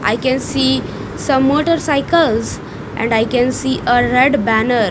i can see some motorcycles and I can see a red banner.